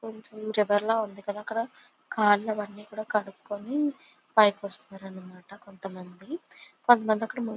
River లా ఉంది కదా అక్కడ . కాళ్లు అనేది కనుక్కొని పైకి వస్తున్నారు అన్న మాట కొంత మంది. కొంతమంది అక్కడ ము--